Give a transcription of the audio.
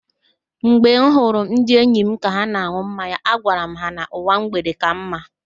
Mgbe m hụrụ ndị enyi m ka ha na-an̄ụ mmanya, agwara m ha, "ụwa mgbede ka mma"